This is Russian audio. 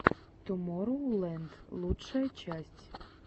тумороу ленд лучшая часть